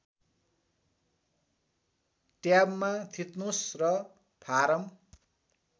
ट्याबमा थिच्नुस् र फारम